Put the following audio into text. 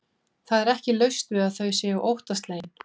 Það er ekki laust við að þau séu óttaslegin.